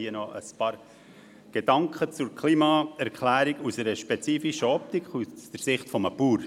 Hier noch ein paar Gedanken zur Klima-Erklärung aus einer spezifischen Optik, nämlich aus der Sicht eines Bauern.